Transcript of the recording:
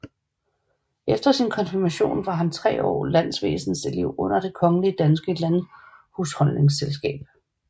Efter sin konfirmation var han i tre år landvæsenselev under Det kongelige danske Landhusholdningsselskab